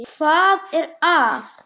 Hvað er að?